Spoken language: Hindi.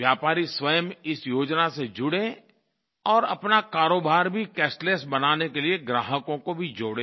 व्यापारी स्वयं इस योजना से जुडें और अपना कारोबार भी कैशलेस बनाने के लिए ग्राहकों को भी जोड़ें